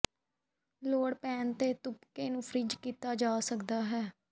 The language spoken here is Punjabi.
ਲੋੜ ਪੈਣ ਤੇ ਤੁਪਕੇ ਨੂੰ ਫ੍ਰੀਜ਼ ਕੀਤਾ ਜਾ ਸਕਦਾ ਹੈ